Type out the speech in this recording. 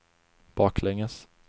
baklänges